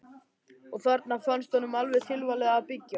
Og þarna fannst honum alveg tilvalið að byggja.